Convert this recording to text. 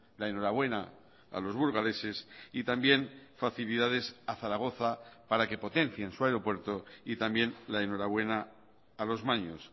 la enhorabuena a los burgaleses y también facilidades a zaragoza para que potencien su aeropuerto y también la enhorabuena a los maños